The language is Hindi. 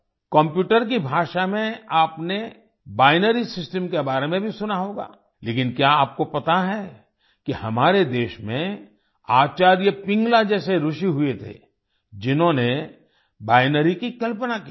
कम्प्यूटर की भाषा में आपने बाइनरी सिस्टम के बारे में भी सुना होगा लेकिन क्या आपको पता है कि हमारे देश में आचार्य पिंगला जैसे ऋषि हुए थे जिन्होंने बाइनरी की कल्पना की थी